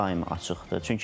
Daim açıqdır.